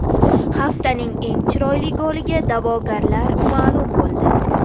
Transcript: Haftaning eng chiroyli goliga da’vogarlar ma’lum bo‘ldi.